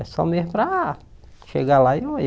É só mesmo para chegar lá e